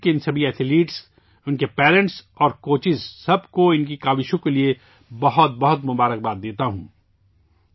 میں ملک کے ان تمام ایتھلیٹوں، ان کے والدین اور کوچز کو، سبھی کو ان کی کوششوں کے لیے بہت بہت مبارکباد پیش کرتا ہوں